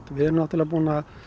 við erum búin að